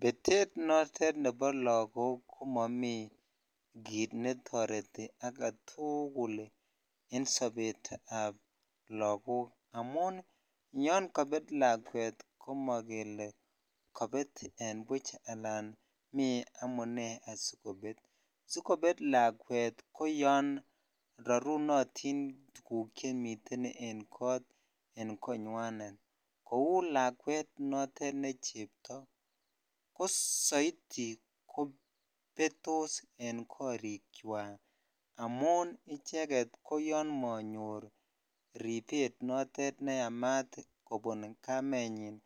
Betet notet nebo lakok ko momii kit netoreti aketukul en sobet ab lakok amun yan Janet lakwet komokilelen kobet en buch mii amune asikobet sikobet lakwet koyon rarunotin tuguk chemiten en konywanet kou lakwet notet ne cheptoo ko soiti kobetos en korik chwak amun icheget ko yon monorail ribet notet neyamat kobun kamenyin